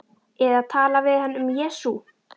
Eða tala við hann um Jesú.